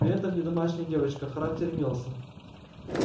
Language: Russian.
при этом не домашняя девочка характер имелся